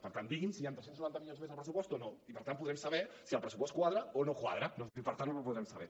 per tant digui’ns si hi han tres cents i noranta milions més de pressupost o no i per tant podrem saber si el pressupost quadra o no quadra no sé si per tant ho podrem saber